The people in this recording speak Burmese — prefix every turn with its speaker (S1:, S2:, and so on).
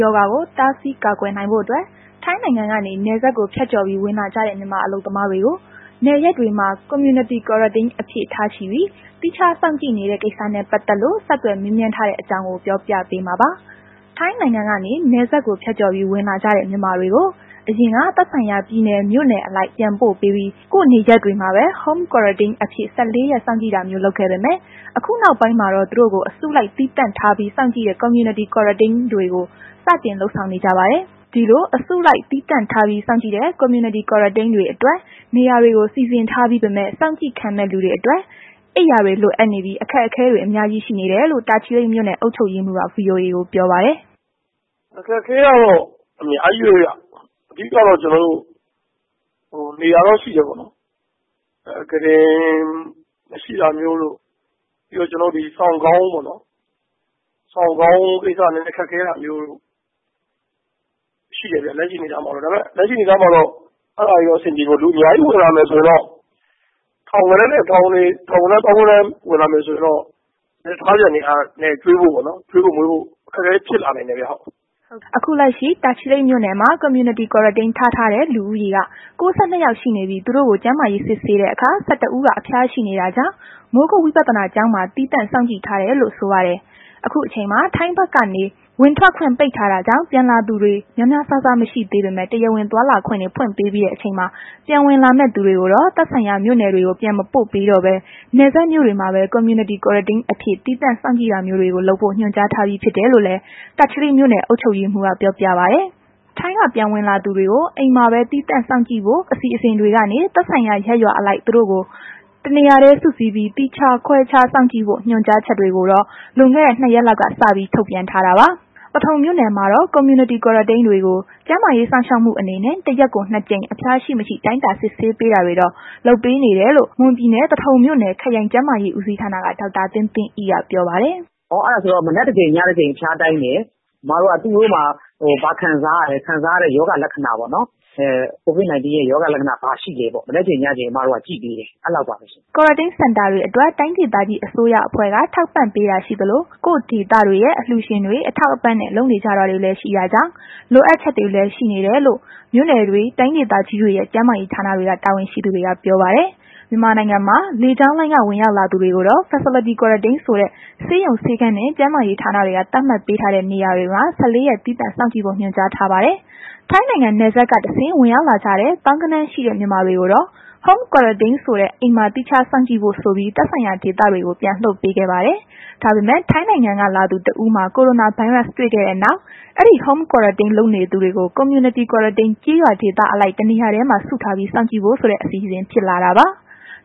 S1: ရောဂါကို တားဆီးကာကွယ်နိုင်ဖို့အတွက် ထိုင်းနိုင်ငံကနေ နယ်စပ်ကိုဖြတ်ကျော်ပြီး ဝင်လာကြတဲ့ မြန်မာအလုပ်သမားတွေကို နယ်ရပ်တွေမှာ Community Quarantine အဖြစ်ထားပြီး သီးခြားစောင့်ကြည့်နေတဲ့ ကိစ္စနဲ့ ပတ်သက်လို့ ဆက်သွယ်မေးမြန်းထားတဲ့ အကြောင်းကို ပြောပြပေးမှာပါ။ ထိုင်းနိုင်ငံကနေ နယ်စပ်ကို ဖြတ်ကျော်ပြီး ဝင်လာကြတဲ့ မြန်မာတွေကို အရင်က သက်ဆိုင်ရာ ပြည်နယ် မြို့နယ်အလိုက် ပြန်ပို့ပေးပြီး ကိုယ့်ရပ်ရွာမှာပဲ Home Quarantine အဖြစ် ၁၄ ရက် စောင့်ကြည့်တာမျိုး လုပ်ခဲ့ပေမဲ့ ခုနောက်ပိုင်းမှာတော့ သူတို့ကို အစုလိုက် သီးသန့်ထားပြီး စောင့်ကြည့်တဲ့ Community Quarantine တွေကို စတင်လုပ်ဆောင်နေကြပါတယ်။ ဒီလို အစုလိုက် သီးသန့်ထားပြီး စောင့်ကြည့်တဲ့ Community Quarantine တွေအတွက် နေရာတွေကို စီစဉ်ထားပြီးပေမယ့် စောင့်ကြည့်ခံမယ့် လူတွေအတွက် အိပ်ယာတွေ လိုအပ်နေပြီး အခက်အခဲတွေ အများကြီး ရှိနေတယ်လို့ တာချီလိတ်မြို့နယ် အုပ်ချုပ်ရေးမှူးက VOA ကိုပြောပါတယ်။
S2: “အခက်အခဲကတော့ အများကြီးပဲဗျ။ အဓိကကတော့ နေရာတော့ ရှိတယ်ပေါ့နော်။ ကုတင်မရှိတာမျိုးတို့ ပြီးတော့ စောင်၊ ခေါင်းအုံး အဲ့လိုမျိုးပေါ့နှော်။ အဲ့တာခက်ခဲတာတော့ ရှိတယ်ပေါ့နော်။ လက်ရှိအနေအထားမှာ အဲ့တာတော့ အဆင်ပြေဖို့ လိုအပ်နေတယ်ပေါ့။ လူတွေအများကြီးဝင်လာမယ်ဆိုရင်တော့ ထောင်ဂဏန်း သောင်းဂဏန်းဝင်လာမယ်ဆိုရင်တော့ ထားစရာနေရာနဲ့ စားစရာကျွေးဖို့ မွေးဖို့ အခက်အခဲဖြစ်လာနိုင်တယ်ဗျ။”
S1: အခုလက်ရှိ တာချီလိတ်မြို့နယ်မှာ Community Quarantine ထားထားတဲ့ လူဦးရေက ၉၂ ယောက် ရှိနေပြီး သူတို့ကို ကျန်းမာရေးစစ်တဲ့အခါ ၁၁ ဦးက အဖျားရှိနေတာကြောင့် မိုးကုတ် ဝိပဿနာကျောင်းမှာ သီးသန့်စောင့်ကြည့်ထားတယ်လို့ ဆိုပါတယ်။ ခုအချိန်မှာ ထိုင်းဘက်က ဝင်ခွင့်ထွက်ခွင့် ပိတ်ထားတာကြောင့် ပြန်ဝင်လာသူတွေ များများစားစား မရှိသေးပေမဲ့ တရားဝင် သွားလာခွင့်တွေ ဖွင့်ပေးပြီးတဲ့ အချိန်မှာ ပြန်ဝင်လာမယ့်သူ တွေကိုတော့ သက်ဆိုင်ရာမြို့နယ်တွေကို ပြန်မပို့ပေးတော့ဘဲ နယ်စပ်မြို့တွေမှာပဲ Community Quarantine အဖြစ် သီးသန့်စောင့်ကြည့်တာမျိုးတွေကို လုပ်ဖို့ ညွှန်ကြားထားပြီးဖြစ်တယ်လို့လည်း တာချီလိတ်မြို့နယ်အုပ်ချုပ်ရေးမှုးက ပြောပြပါတယ်။ ထိုင်းက ပြန်ဝင်လာသူတွေကို အိမ်မှာသီးခြားခွဲစောင့်ကြည့်ဖို့ အစီအစဉ်ကနေ သက်ဆိုင်ရာရပ်ရွာအလိုက်သူတို့ကို တနေရာတည်းစုပြီး သီးခြားခွဲစောင့်ကြည့်ဖို့ ညွှန်ကြားချက်တွေကိုတော့ လွန်ခဲ့တဲ နှစ်ရက်လောက်က စပြီး ထုတ်ထားတာပါ။ သထုံမြို့နယ်မှာတော့ Community Quarantine တွေကို ကျန်းမာရေး စောင့်ရှောက်မှုအနေနဲ့ တရက်ကို နှစ် ကြိမ် အဖျားရှိ၊ မရှိ တိုင်တာစစ်ဆေးပေးတာတွေတော့ လုပ်ပေးနေတယ်လို့ မွန်ပြည်နယ် သထုံမြို့နယ် ခရိုင် ကျန်းမာရေး ဦးစီးဌာနက Dr. သင်
S3: းသင်းအိက ပြောပါတယ်။ “မနက်တကြိမ် ညတကြိမ် အဖျားတိုင်းတယ်။ သူတို့မှာ လာခံစားရလဲ ခံစားရတဲ့ ရောဂါလက္ခဏာ ပေါ့။ COVID 19 နဲ့ ပတ်သက်တဲ့ ရောဂါလက္ခဏာ ဘာရှိလဲပေါ့ မနက်တကြိမ် ညတကြိမ် အမတို့က ကြည့်ပေးတယ် အဲ့လောက်ပါပဲ
S1: ။” Quarantine Center တွေအတွက် တိုင်းဒေသကြီး အစိုးရ အဖွဲ့က ထောက်ပံပေးတာရှိသလို ကိုယ့်ဒေသတွေရဲ့ အလှုရှင်တွေ အထောက်အပံ့နဲ့ လုပ်နေကြတာတွေလည်း ရှိတာကြောင့် လိုအပ်ချက်တွေလည်း ရှိနေတယ်လို့ မြို့နယ်တွေ တိုင်းဒေသကြီးတွေရဲ့ ကျန်းမာရေး ဌာနတွေက တာဝန်ရှိသူတွေက ပြောပါတယ်။ မြန်မာနိုင်ငံမှာ လေကြောင်းလိုင်းက ဝင်ရောက်လာသူတွေကိုတော့ facility quarantine ဆိုတဲ့ ဆေးရုံဆေးခန်းနဲ့ကျန်းမာရေးဌာနက သတ်မှတ်ပေးထားတဲ့ နေရာတွေမှာ ၁၄ ရက်စောင့်ကြည့်ဖို့ ညွှန်ကြားထားပါတယ်။ ထိုင်းနိုင်ငံ နယ်စပ်ကတဆင့် ဝင်ရောက်လာတဲ့သောင်းဂဏန်းရှိတဲ့ မြန်မာတွေကိုတော့ Home quarantine ဆိုတဲ့ အိမ်မှာ သီးခြားထားစောင့်ကြည့်ဖို့ဆိုပြီး သက်ဆိုင်ရာဒေသတွေကို ပြန်လွှတ်ခဲ့ပါတယ်။ ဒါပေမယ့် ထိုင်းနိုင်ငံကဝင်လာသူတဦးမှာ ကိုရိုနာဗိုင်းရပ်တွေ့ခဲ့တဲ့နောက် အဲဒီ Home quarantine လုပ်နေသူတွေကို community quarantine ကျေးရွာဒေသအလိုက် တနေရာမှာစုထားပြီး စောင့်ကြည့်ဖို့ဆိုတဲ့ အစီအစဉ်ဖြစ်လာတာပါ။